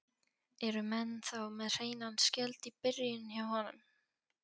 Eru menn þá með hreinan skjöld í byrjun hjá honum?